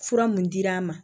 Fura mun dir'an ma